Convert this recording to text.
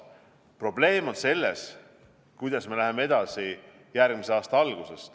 Probleem on selles, kuidas me läheme edasi järgmise aasta alguses.